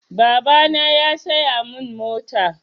Babana ya saya min mota.